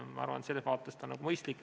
Ma arvan, et selles vaates on see mõistlik.